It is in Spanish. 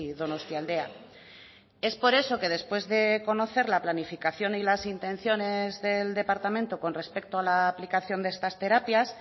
donostialdea es por eso que después de conocer la planificación y las intenciones del departamento con respecto a la aplicación de estas terapias